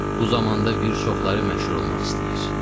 Bu zamanda bir çoxları məşhur olmaq istəyir.